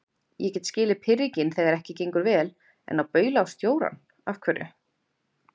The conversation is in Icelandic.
Ég get skilið pirringinn þegar ekki gengur vel, en að baula á stjórann. af hverju?